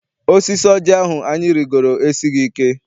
Osisi oji ahụ anyị rigoro esighị ike.